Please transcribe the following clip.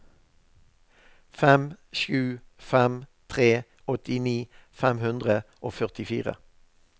fem sju fem tre åttini fem hundre og førtifire